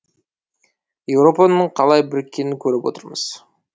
еуропаның қалай біріккенін көріп отырмыз